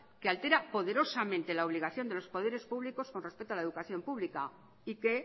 que altera poderosamente la obligación de los poderes públicos con respecto a la educación pública y que